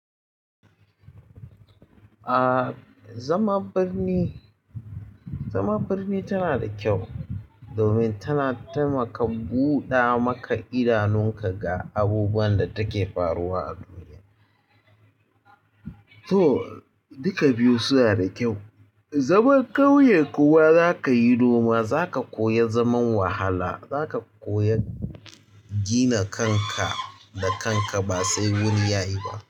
Ah, zama birni, zama birni tana da kyau domin tana taimaka buɗa maka idanunka ga abubuwan da take faruwa a duniya. To, duka biyu suna da kyau. Zama ƙauye kuwa zaka yi noma, zaka koyi zaman wahala, zaka koyi gina kanka da kanka ba sai wuri ya yi ba.